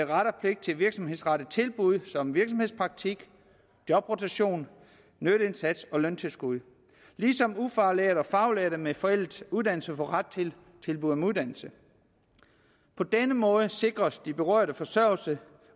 ret og pligt til virksomhedsrettede tilbud som virksomhedspraktik jobrotation nytteindsats og løntilskud ligesom ufaglærte og faglærte med forældede uddannelse får ret til tilbud om uddannelse på denne måde sikres de berørte forsørgelse